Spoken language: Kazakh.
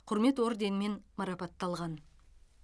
құрмет орденімен марапатталған